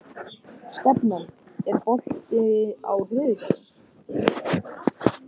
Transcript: Stefana, er bolti á þriðjudaginn?